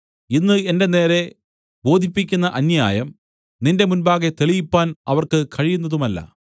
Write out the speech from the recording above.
ഇന്ന് എന്റെ നേരെ ബോധിപ്പിക്കുന്ന അന്യായം നിന്റെ മുമ്പാകെ തെളിയിപ്പാൻ അവർക്ക് കഴിയുന്നതുമല്ല